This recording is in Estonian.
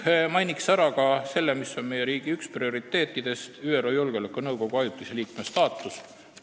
Mainin ära ka selle, mis on meie riigi üks prioriteetidest – ÜRO Julgeolekunõukogu ajutise liikme staatus.